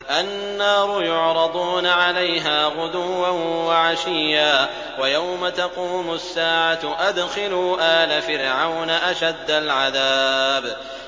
النَّارُ يُعْرَضُونَ عَلَيْهَا غُدُوًّا وَعَشِيًّا ۖ وَيَوْمَ تَقُومُ السَّاعَةُ أَدْخِلُوا آلَ فِرْعَوْنَ أَشَدَّ الْعَذَابِ